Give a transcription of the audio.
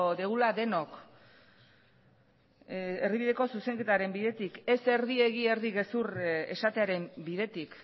dugula denok erdibideko zuzenketaren bidetik ez erdi egi erdi gezur esatearen bidetik